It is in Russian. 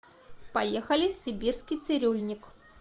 поехали сибирский цирюльник